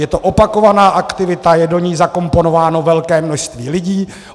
Je to opakovaná aktivita, je do ní zakomponováno velké množství lidí.